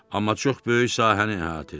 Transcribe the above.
Amma çox böyük sahəni əhatə edir.